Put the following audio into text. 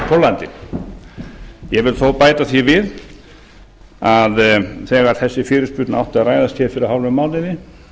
póllandi ég vil þó bæta því við að þegar þessi fyrirspurn átti að ræðast hér fyrir hálfum mánuði